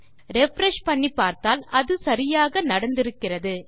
refresh பண்ணி பார்த்தால் அது சரியாக நடந்திருக்கிறது